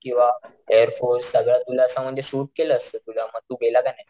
किंवा air force सगळं तुला असं म्हणजे सुट केलं तुला म तू गेला का नाही.